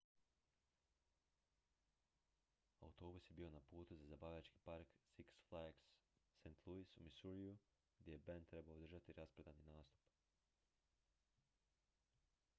autobus je bio na putu za zabavljački park six flags st louis u missouriju gdje je bend trebao održati rasprodani nastup